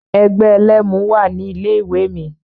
Ẹgbẹ́ ẹlẹ́mu wà ní ilé ìwé mi.